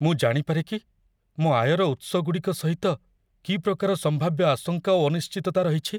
ମୁଁ ଜାଣିପାରେ କି ମୋ ଆୟର ଉତ୍ସଗୁଡ଼ିକ ସହିତ କି ପ୍ରକାର ସମ୍ଭାବ୍ୟ ଆଶଙ୍କା ଓ ଅନିଶ୍ଚିତତା ରହିଛି?